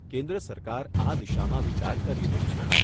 કેન્દ્ર સરકાર આ દિશામાં વિચાર કરી રહી છે.